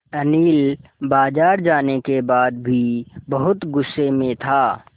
अनिल बाज़ार जाने के बाद भी बहुत गु़स्से में था